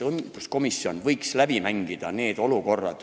Õiguskomisjon võiks need olukorrad läbi mängida.